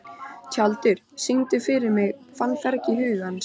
Tjaldur, syngdu fyrir mig „Fannfergi hugans“.